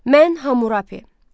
Mən Hamurapi.